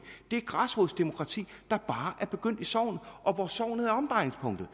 det græsrodsdemokrati der bare er begyndt i sognet og hvor sognet er omdrejningspunktet